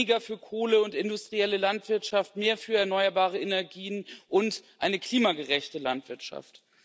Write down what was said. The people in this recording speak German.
Weniger für Kohle und industrielle Landwirtschaft, mehr für erneuerbare Energien und eine klimagerechte Landwirtschaft.